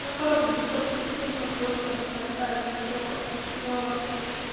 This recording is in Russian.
ну короче суть того что тут можно просто поставить все в